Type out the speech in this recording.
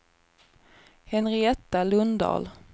Henrietta Lundahl